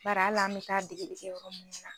Baara ala an bɛ taa dege dege yɔrɔ min na.